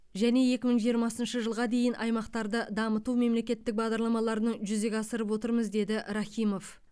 және екі мың жиырмасыншы жылға дейін аймақтарды дамыту мемлекеттік бағдарламаларының жүзеге асырып отырмыз деді рахимов